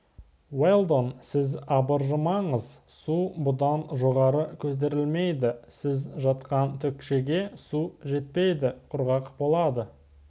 уэлдон сіз абыржымаңыз су бұдан жоғары көтерілмейді сіз жатқан текшеге су жетпейді құрғақ болады